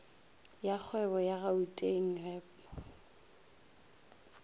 ya kgwebo ya gauteng gep